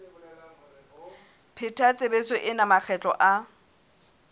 pheta tshebetso ena makgetlo a